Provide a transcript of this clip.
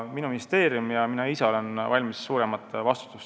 Minu ministeerium ja mina oleme valmis kandma suuremat vastutust.